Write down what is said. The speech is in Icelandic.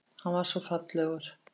Hann var svo fallegur.